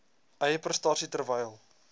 eie prestasie terwyl